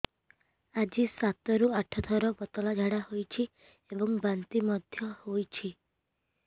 ଆଜି ସାତରୁ ଆଠ ଥର ପତଳା ଝାଡ଼ା ହୋଇଛି ଏବଂ ବାନ୍ତି ମଧ୍ୟ ହେଇଛି